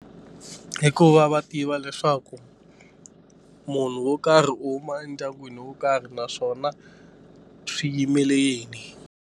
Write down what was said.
Hi ku va va tiva leswaku munhu wo karhi u huma endyangwini wo karhi naswona swi yimele yini.